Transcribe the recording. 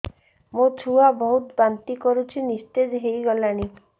ମୋ ଛୁଆ ବହୁତ୍ ବାନ୍ତି କରୁଛି ନିସ୍ତେଜ ହେଇ ଗଲାନି